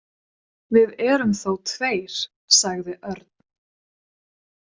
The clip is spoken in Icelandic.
Við erum þó tveir, sagði Örn.